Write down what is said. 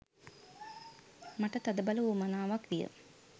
මට තදබල උවමනාවක් විය.